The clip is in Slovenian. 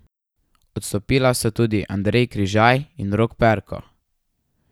Odstopila sta tudi Andrej Križaj in Rok Perko.